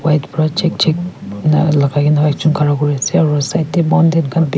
white para check check lah lagai ke na chokra kuri se aru side teh mountain khan be--